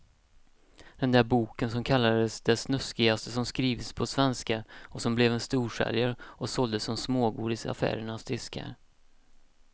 Den där boken som kallades det snuskigaste som skrivits på svenska och som blev en storsäljare och såldes som smågodis i affärernas diskar.